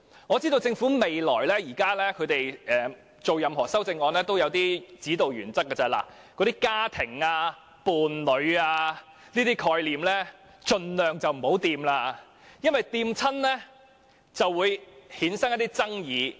我知道政府提出任何修正案，也有一些指導原則，就是盡量別碰到"家庭"、"伴侶"等概念，因為每次觸及時也會引發一些爭議。